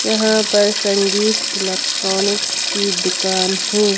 यहाँ पर संगीत इलेक्ट्रॉनिक्सकी अच्छी दुकान है।